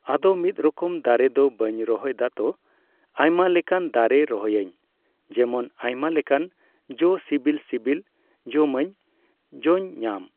ᱟᱫᱚ ᱢᱤᱫ ᱨᱚᱠᱚᱢ ᱫᱟᱨᱮ ᱫᱚ ᱵᱟᱹᱧ ᱨᱚᱦᱚᱭ ᱫᱟᱛᱚ, ᱟᱭᱢᱟ ᱞᱮᱠᱟᱱ ᱫᱟᱨᱮ ᱨᱚᱦᱚᱭᱟᱹᱧ ᱾ ᱡᱮᱢᱚᱱ ᱟᱭᱢᱟ ᱞᱮᱠᱟᱱ ᱡᱚ ᱥᱤᱵᱤᱞᱼᱥᱤᱵᱤᱞ ᱡᱚᱢᱟᱹᱧ, ᱡᱚᱧ ᱧᱟᱢ᱾